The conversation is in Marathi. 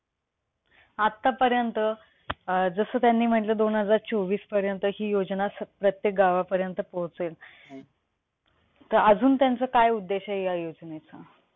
आता पर्यंत अं जस त्यांनी म्हटलं दोन हजार चोवीसपर्यंत हि योजना प्रत्येक गावापर्यंत पोहचेल. तर अजून त्यांचा काय उद्देश आहे या योजनेचा?